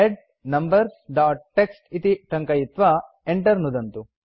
head numbers dot TXT इति टङ्कयित्वा enter नुदन्तु